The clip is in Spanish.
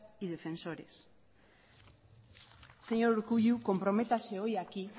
y defensores señor urkullu comprométase hoy aquí